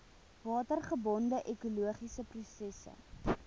watergebonde ekologiese prosesse